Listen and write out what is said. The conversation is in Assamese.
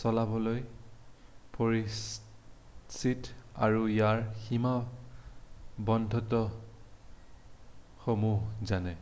চলাবলৈ পৰিচিত আৰু ইয়াৰ সীমাবদ্ধতাসমুহ জানে